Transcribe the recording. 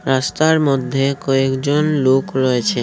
রাস্তার মধ্যে কয়েকজন লোক রয়েছে।